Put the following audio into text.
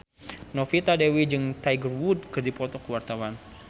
Novita Dewi jeung Tiger Wood keur dipoto ku wartawan